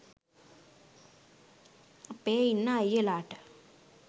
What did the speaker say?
අපේ ඉන්න අය්යලාට